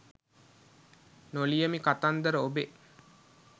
නො ලියමි කතන්දර ඔබේ